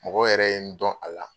Mɔgɔ yɛrɛ ye n dɔn a la